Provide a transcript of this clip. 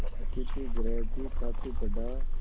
अतिथिगृह भी काफी बड़ा